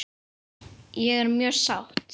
Ég er mjög sátt.